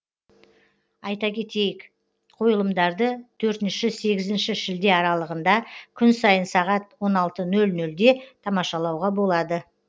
айта кетейік қойылымдарды төртінші сегізінші шілде аралығында күн сайын сағат он алты нөл нөлде тамашалауға болады